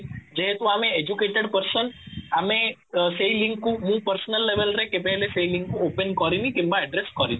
ଯେହେତୁ ଆମେ educated person ଆମେ ସେଇ ଲିଙ୍କ କୁ ମୁଁ personal level ରେ କେବେ ହେଲେ ସେଇ ଲିଙ୍କକୁ open କରିନି କିମ୍ବା address କରିନି